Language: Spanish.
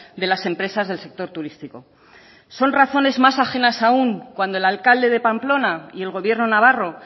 de las empresas del sector turístico son razones más ajenas aun cuando el alcalde de pamplona y el gobierno navarro